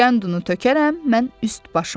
Qənd unu tökərəm mən üst başıma.